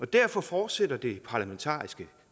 derfor fortsætter det parlamentariske